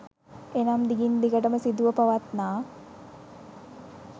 එනම් දිගින් දිගටම සිදුව පවත්නා